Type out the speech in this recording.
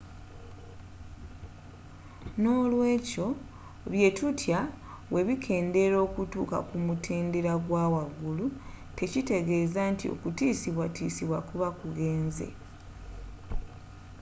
nolwekyo byetutya bwebikeendera okutuuka ku mutendeera gwawaggulu tekitegeeza nti okutiiosibwatiisibwa kuba kugenze